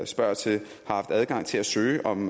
spørger til har haft adgang til at søge om